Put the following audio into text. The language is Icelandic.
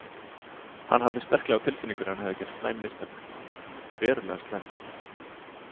Hann hafði sterklega á tilfinningunni að hann hefði gert slæm mistök, verulega slæm.